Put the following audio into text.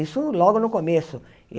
Isso logo no começo.